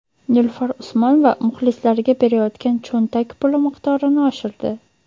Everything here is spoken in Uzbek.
Nilufar Usmonova muxlislariga berayotgan cho‘ntak puli miqdorini oshirdi.